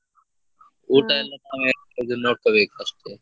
ಎಲ್ಲಾ ನಾವೇ ನೋಡ್ಕೊಬೇಕು ಅಷ್ಟೇ.